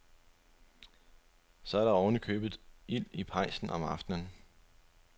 Så er der oven i købet ild i pejsen om aftenen.